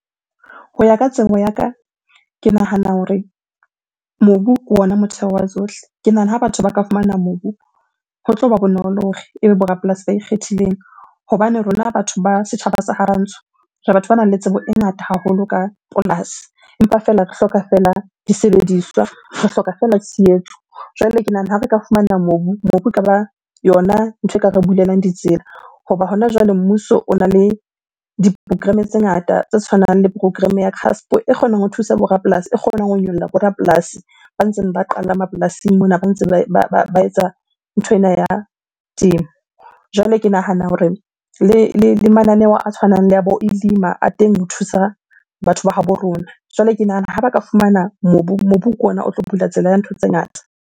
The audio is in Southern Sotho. Ho ya ka tsebo ya ka, ke nahana hore mobu ke ona motheo wa tsohle. Ke nahana ha batho ba ka fumana mobu, ho tloba bonolo hore ebe bo rapolasi ba ikgethileng. Hobane rona batho ba setjhaba sa ha rantsho, re batho banang le tsebo e ngata haholo ka polasi. Empa fela re hloka fela disebediswa, re hloka fela tshehetso. Jwale ke nahana ha re ka fumana mobu, mobu ekaba yona ntho e ka re bulelang ditsela. Hoba hona jwale, mmuso ona le di-program-e tse ngata tse tshwanang le program-e ya CASP e kgonang ho thusa bo rapolasi, e kgonang ho nyolla bo rapolasi ba ntseng ba qala mapolasing mona. Ba ntse ba etsa nthwena ya temo. Jwale ke nahana hore le mananeo a tshwanang le a teng ho thusa batho ba habo rona. Jwale ke nahana ha ba ka fumana mobu, mobu ke ona o tlo bula tsela ya ntho tse ngata.